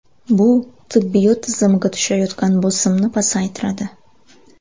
Bu tibbiyot tizimiga tushayotgan bosimni pasaytiradi.